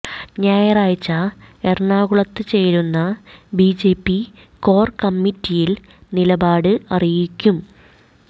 ഞായറാഴ്ച എറണാകുളത്ത് ചേരുന്ന ബിജെപി കോർ കമ്മിറ്റിയിൽ നിലപാട് അറിയിക്കും